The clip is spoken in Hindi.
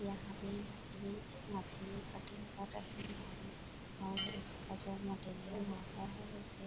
यहाँ पे मछली मछली कटिंग कर रही है और उस का जो मटेरियल होता है उसे